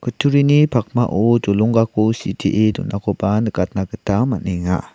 kutturini pakmao jolonggako sitee donakoba nikatna gita man·enga.